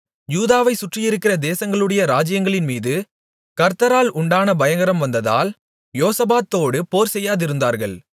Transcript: யூதாவைச் சுற்றியிருக்கிற தேசங்களுடைய ராஜ்ஜியங்களின் மீது கர்த்தரால் உண்டான பயங்கரம் வந்ததால் யோசபாத்தோடு போர்செய்யாதிருந்தார்கள்